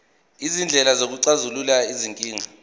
izindlela zokuxazulula izinkinga